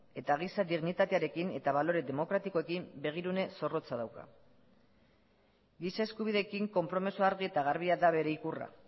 eta giza dignitatearekin eta balore demokratikoekin begirune zorrotza dauka gisa eskubideekin konpromiso argi eta garbia da bere ikurra